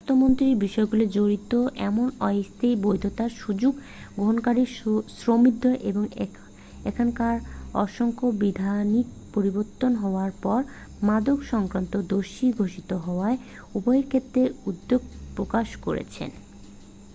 স্বাস্থ্যমন্ত্রী বিষয়গুলিতে জড়িত এমন অস্থায়ী বৈধতার সুযোগ গ্রহণকারীদের সমৃদ্ধি এবং এখনকার অসাংবিধানিক পরিবর্তন হওয়ার পর মাদক-সংক্রান্ত দোষী ঘোষিত হওয়া উভয়ের ক্ষেত্রে উদ্বেগ প্রকাশ করেছেন